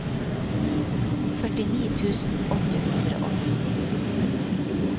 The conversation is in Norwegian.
førtini tusen åtte hundre og femtini